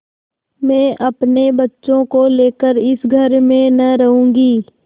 मैं अपने बच्चों को लेकर इस घर में न रहूँगी